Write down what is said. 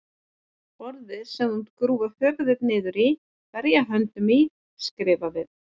Borðið sem þú munt grúfa höfuð þitt niður í, berja höndunum í, skrifa við.